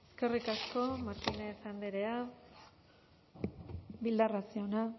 eskerrik asko martínez andrea bildarratz jauna